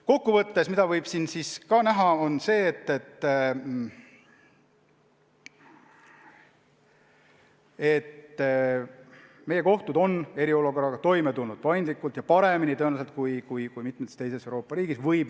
Kokku võttes võib näha, et meie kohtud on eriolukorraga toime tulnud paindlikult ja paremini tõenäoliselt kui mitmes teises Euroopa riigis.